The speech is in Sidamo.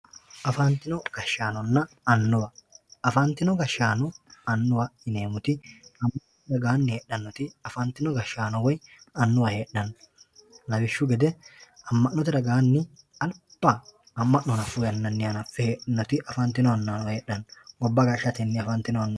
afantino gashshaanonna annuwa. afantino gashshaano annuwa yineemmoti amma'note ragaanni heedhannoti afantino gashshaanonna woy annuwa heedhanno lawishshu gede amma'note ragaanni alba amma'no hanaffu yannanni hanaffe heedhannoti afantino annuwa heedhano gobba gashshatenni afantino annuwano